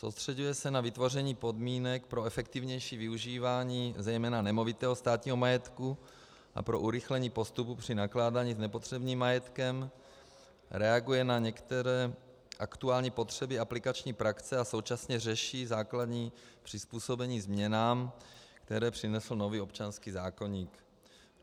Soustřeďuje se na vytvoření podmínek pro efektivnější využívání zejména nemovitého státního majetku a pro urychlení postupu při nakládání s nepotřebným majetkem, reaguje na některé aktuální potřeby aplikační praxe a současně řeší základní přizpůsobení změnám, které přinesl nový občanský zákoník.